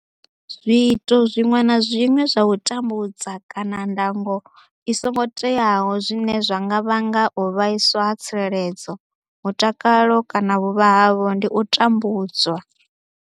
Zwiito zwiṅwe na zwiṅwe zwa u tambudza kana ndango i songo teaho zwine zwa nga vhanga u vhaiswa ha tsireledzo, mutakalo kana vhuvha havho ndi u tambudzwa.